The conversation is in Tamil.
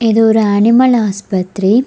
இது ஒரு அனிமல் ஆஸ்பத்ரி.